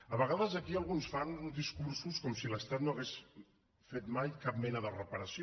a vegades aquí alguns fan uns discursos com si l’estat no hagués fet mai cap mena de reparació